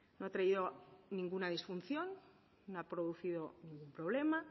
no ha traído ninguna disfunción no ha producido ningún problema